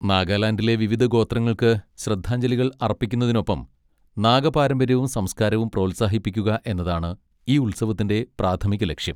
നാഗാലാൻഡിലെ വിവിധ ഗോത്രങ്ങൾക്ക് ശ്രദ്ധാഞ്ജലികൾ അർപ്പിക്കുന്നതിനൊപ്പം നാഗ പാരമ്പര്യവും സംസ്കാരവും പ്രോത്സാഹിപ്പിക്കുക എന്നതാണ് ഈ ഉത്സവത്തിന്റെ പ്രാഥമിക ലക്ഷ്യം.